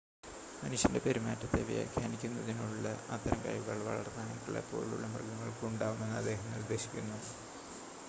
മനുഷ്യൻ്റെ പെരുമാറ്റത്തെ വ്യാഖ്യാനിക്കുന്നതിനുള്ള അത്തരം കഴിവുകൾ വളർത്തു നായ്ക്കളെ പോലുള്ള മൃഗങ്ങൾക്കും ഉണ്ടാവാമെന്ന് അദ്ദേഹം നിർദ്ദേശിക്കുന്നു